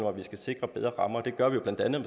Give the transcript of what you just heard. at vi skal sikre bedre rammer og det gør vi jo blandt andet